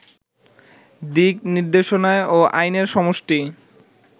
দিকনির্দেশনা ও আইনের সমষ্টি